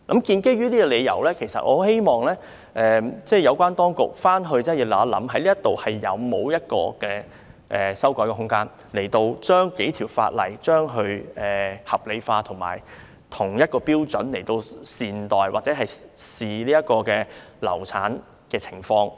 基於這點，我十分希望有關當局研究一下有否修改法例的空間，理順數條相關法例的條文，按相同標準看待流產的情況。